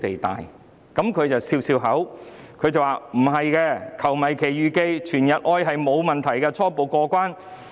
聶局長當時笑笑說，"球迷奇遇記"和"全日愛"沒有問題，初步過關。